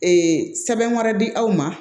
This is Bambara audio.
Ee sɛbɛn wɛrɛ di aw ma